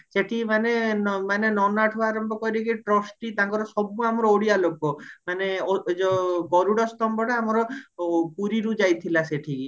ସେଠି ମାନେ ନ ମାନେ ନନାଠୁ ଆରମ୍ଭ କରିକି trusty ତାଙ୍କର ସବୁ ଅମାର ଓଡିଆ ଲୋକ ମାନେ ଏଯୋଉ ଗରୁଡ ସ୍ତମ୍ବଟା ଆମର ପୁରୀରୁ ଯାଇଥିଲା ସେଠିକି